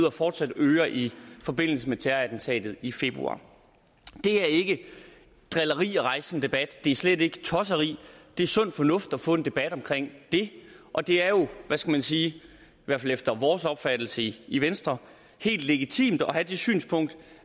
og fortsat yder i forbindelse med terrorattentatet i februar det er ikke drilleri at rejse sådan en debat det er slet ikke tosseri det er sund fornuft at få en debat om det og det er jo hvad skal man sige i hvert fald efter vores opfattelse i i venstre helt legitimt at have det synspunkt